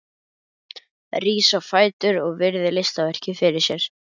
Rís á fætur og virðir listaverkið fyrir sér.